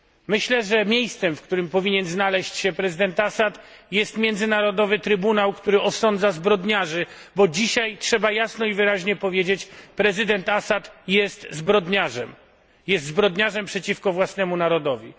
Myślę, że miejscem, w którym powinien znaleźć się prezydent Assad, jest międzynarodowy trybunał, który osądza zbrodniarzy, bo dzisiaj trzeba jasno i wyraźnie powiedzieć, że prezydent Assad jest zbrodniarzem, zbrodniarzem przeciwko własnemu narodowi.